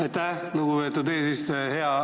Aitäh, lugupeetud eesistuja!